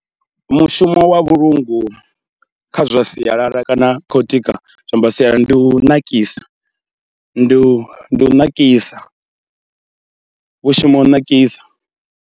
Mushumo wa vhulungu kha zwa sialala kana khou tika zwiambaro zwa sialala ndi u ṋakisa, ndi u ndi u ṋakisa, vhu shuma u nakisa.